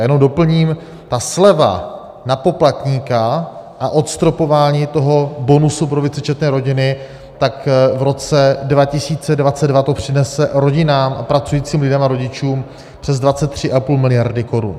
A jenom doplním - sleva na poplatníka a odstropování toho bonusu pro vícečetné rodiny, tak v roce 2022 to přinese rodinám a pracujícím lidem a rodičům přes 23,5 miliardy korun.